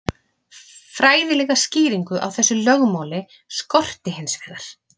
Fræðilega skýringu á þessu lögmáli skorti hins vegar.